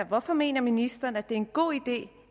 hvorfor mener ministeren at det er en god idé